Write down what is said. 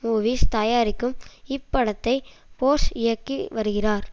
movies தயாரிக்கும் இப்படத்தை போஸ் இயக்கி வருகிறார்